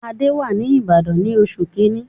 Adé wá si Ìbàdàn ní oṣù kíní.